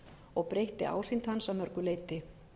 og breytti ásýnd hans að mörgu leyti